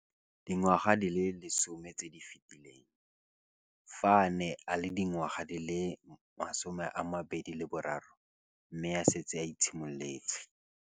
Dingwaga di le 10 tse di fetileng, fa a ne a le dingwaga di le 23 mme a setse a itshimoletse